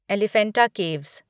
Elephanta caves